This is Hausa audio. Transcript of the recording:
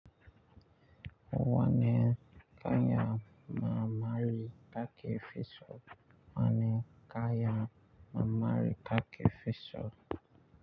Wani kaya marmari kakafi so wani kaya marmari kaka fi so.